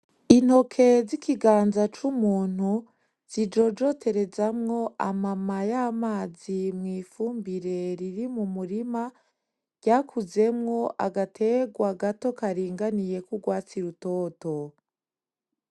Intoke z’ikiganza c’umuntu zijojoterezamwo amamaye y’amazi mu ifumbire riri mu murima ryakuzemo agategwa gato karinganiye k'urwatsi rutoto.